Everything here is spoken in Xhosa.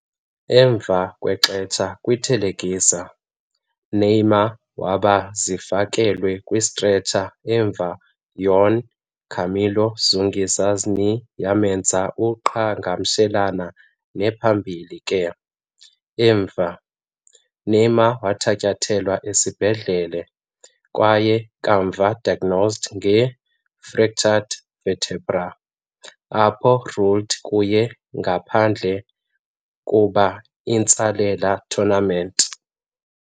Emva kwexesha kwi-thelekisa, Neymar waba zifakelwe kwi stretcher emva Juan Camilo Zúñiga's knee yamenza uqhagamshelane ne-phambili ke, emva. Neymar wathatyathelwa esibhedlele kwaye kamva diagnosed nge fractured vertebra, apho ruled kuye ngaphandle kuba intsalela tournament.